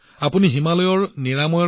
আপুনি হিমালয় আৰোগ্য কৰাৰ কথা ভাবিছিল